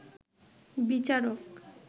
বিচারক